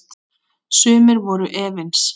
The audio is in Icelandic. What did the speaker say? Sumir voru efins.